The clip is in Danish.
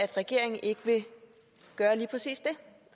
regeringen ikke gøre lige præcis det